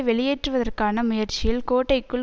வெளியேற்றுவதற்கான முயற்சியில் கோட்டைக்குள்